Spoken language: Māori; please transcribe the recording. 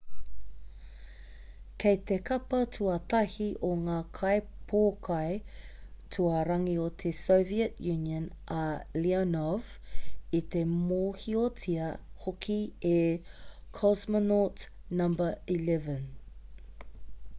kei te kapa tuatahi o ngā kaipōkai tuarangi o te soviet union a leonov i te mōhiotia hoki e cosmonaut no.11